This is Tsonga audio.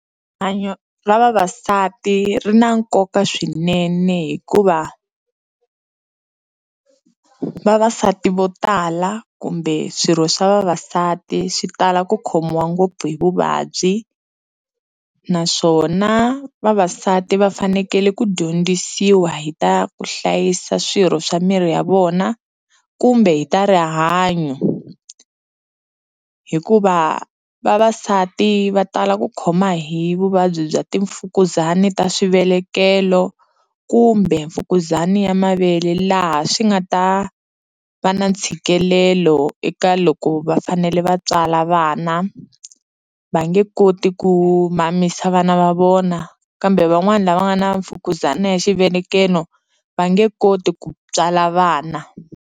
Rihanyo ra vavasati ri na nkoka swinene hikuva vavasati vo tala kumbe swirho swa vavasati swi tala ku khomiwa ngopfu hi vuvabyi naswona vavasati va fanekele ku dyondzisiwa hi ta ku hlayisa swirho swa miri ya vona kumbe hi ta rihanyo hikuva vavasati va tala ku khoma hi vuvabyi bya timfukuzani ta swivelekelo kumbe mfukuzani ya mavele laha swi nga ta va na ntshikelelo eka loko va fanele va tswala vana va nge koti ku mamisa vana va vona kambe van'wani lava nga na mfukuzano ya xivelekelo va nge koti ku tswala vana.